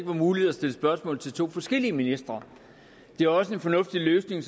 muligt at stille spørgsmål til to forskellige ministre det er også en fornuftig løsning